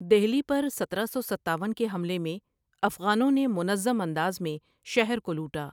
دہلی پر سترہ سو ستاون کے حملے میں افغانوں نے منظم انداز میں شہر کو لوٹا۔